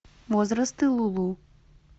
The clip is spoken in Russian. возрасты лулу